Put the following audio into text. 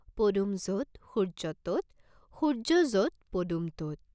পদুম য'ত সূৰ্য্য ত'ত, সূৰ্য্য য'ত পদুম ত'ত।